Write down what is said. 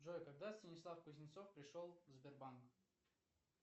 джой когда станислав кузнецов пришел в сбербанк